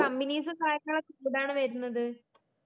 companies ഉം കാര്യങ്ങളൊക്കെ എവിടാണ് വരുന്നത്